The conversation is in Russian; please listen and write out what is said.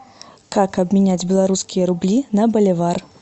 как обменять белорусские рубли на боливар